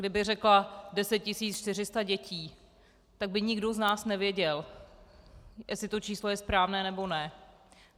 Kdybych řekla 10 400 dětí, tak by nikdo z nás nevěděl, jestli to číslo je správné, nebo ne.